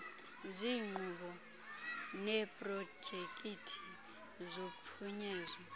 ziinkqubo neeprojekithi zophunyezo